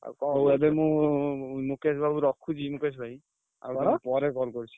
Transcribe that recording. ଏବେ ମୁଁ ମୁକେଶ ବାବୁ ରଖୁଛି ମୁକେଶ ଭାଇ ପରେ call କରୁଛି।